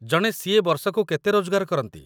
ଜଣେ ସି.ଏ. ବର୍ଷକୁ କେତେ ରୋଜଗାର କରନ୍ତି?